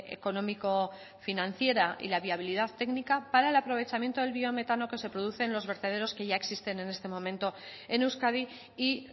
económico financiera y la viabilidad técnica para el aprovechamiento del biometano que se produce en los vertederos que ya existen en este momento en euskadi y